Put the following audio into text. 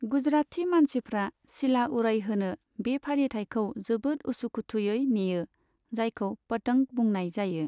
गुजराति मानसिफ्रा सिला उरायहोनो बे फालिथायखौ जोबोद उसुखुथुयै नेयो, जायखौ 'पतंग' बुंनाय जायो।